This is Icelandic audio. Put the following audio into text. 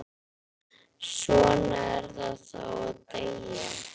Svona er það þá að deyja.